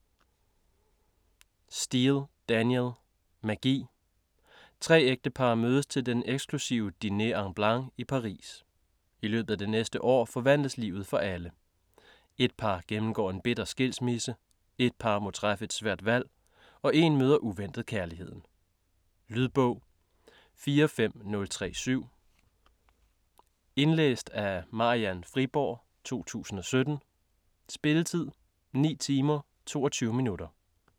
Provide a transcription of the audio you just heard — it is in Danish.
Steel, Danielle: Magi Tre ægtepar mødes til den eksklusive Dîner en Blanc i Paris. I løbet af det næste år forandres livet for alle. Ét par gennemgår en bitter skilsmisse, ét par må træffe et svært valg og én møder uventet kærligheden. Lydbog 45037 Indlæst af Marian Friborg, 2017. Spilletid: 9 timer, 22 minutter.